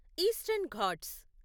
eastern Ghats